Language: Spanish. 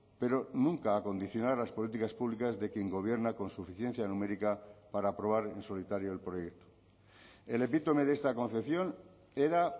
pero nunca a condicionar las políticas públicas de quien gobierna con suficiencia numérica para aprobar en solitario el proyecto el epítome de esta concepción era